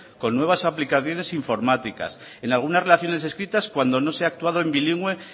con nuevas aplicaciones informáticas en algunas relaciones escritas cuando no se ha actuado en bilingüe